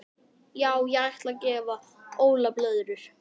Já ég ætla að gefa Óla blöðrur.